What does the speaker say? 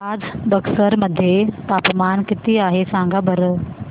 आज बक्सर मध्ये तापमान किती आहे सांगा बरं